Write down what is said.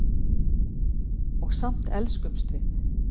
Og samt elskumst við.